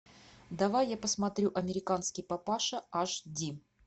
давай я посмотрю американский папаша аш ди